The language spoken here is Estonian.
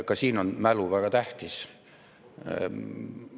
Ka siin on mälu väga tähtis.